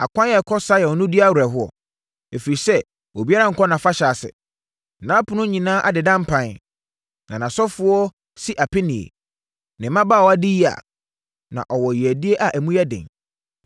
Akwan a ɛkɔ Sion no di awerɛhoɔ, ɛfiri sɛ obiara nkɔ nʼafahyɛ ase. Nʼapono nyinaa adeda mpan, na nʼasɔfoɔ si apinie, ne mmabaawa di yea, na ɔwɔ yeadie a emu yɛ den.